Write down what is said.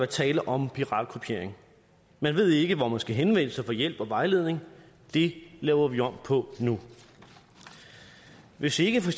tale om piratkopiering man ved ikke hvor man skal henvende sig få hjælp og vejledning det laver vi om på nu hvis ikke for